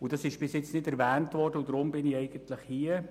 Das wurde bis jetzt nicht erwähnt, deshalb bin ich hier.